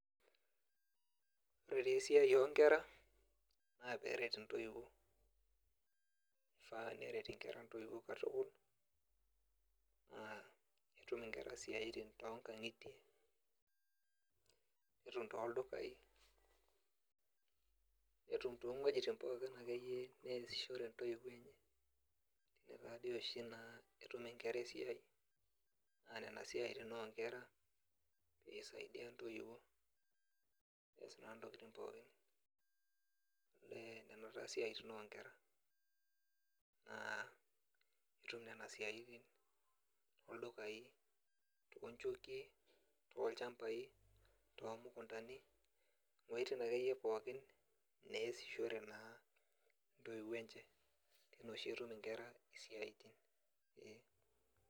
Ore tesiai onkera, na peret intoiwuo. Kifaa neret inkera intoiwuo katukul, naa petum inkera isiaitin tonkang'itie, netum toldukai, netum tong'uejiting pookin akeyie neesishore ntoiwuo enye, ine tadi oshi naa etum inkera esiai, na nena siaitin onkera, pisaidia ntoiwuo, nees naa ntokiting pookin. Eh nena taa siaitin onkera, naa ketum ne a siaitin oldukai tukonchokie, olchambai tomukuntani, iweiting akeyie ake pookin neesishore naa intoiwuo enche. Tine oshi etum inkera isiaitin, ee.